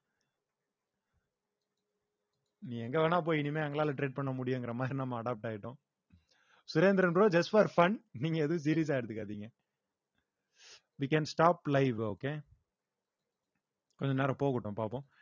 நீ எங்க வேணா போய் இனிமே எங்களால trade பண்ண முடியுங்கிற மாதிரி நம்ம adapt ஆயிட்டோம் Surendar bro just for fun நீங்க எதுவும் serious ஆ எடுத்துக்காதீங்க we can stop live okay கொஞ்ச நேரம் போகட்டும் பார்ப்போம்